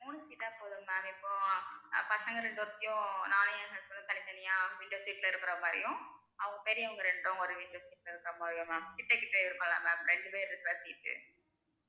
மூணு seat போதும் ma'am இப்போ பசங்க ரெண்டு பேர்த்தையும் நானும் என் husband ம் தனித்தனியா window seat இருக்கிற மாதிரியும் அவங்க பெரியவங்க ரெண்டும் ஒரு window seat ல இருக்கிற மாதிரியும் ma'am கிட்டே கிட்டே இருக்கும்ல ma'am ரெண்டு பேர் இருக்க seat